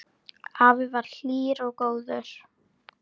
Afi var hlýr og góður.